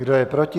Kdo je proti?